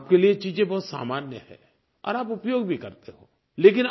आपके लिये चीज़ें बहुत सामान्य हैं और आप उपयोग भी करते हो